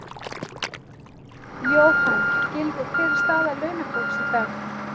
Jóhann: Gylfi, hver er staða launafólks í dag?